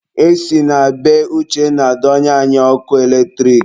E si na be Uchenna donye anyị ọkụ eletrik.